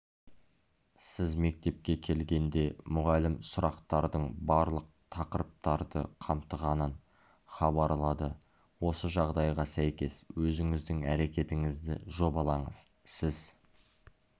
сіз мектепке келгенде мұғалім сұрақтардың барлық тақырыптарды қамтығанын хабарлады осы жағдайға сәйкес өзіңіздің әрекетіңізді жобалаңыз сіз